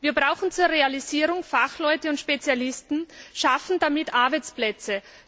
Wir brauchen zu ihrer Realisierung Fachleute und Spezialisten und schaffen damit Arbeitsplätze.